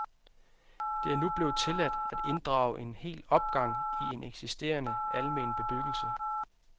Det er nu blevet tilladt at inddrage en hel opgang i en eksisterende almen bebyggelse.